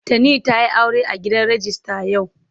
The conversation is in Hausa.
Tani ta yi aure a gidan rijista yau.